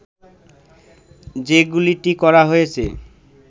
যে গুলিটি করা হয়েছে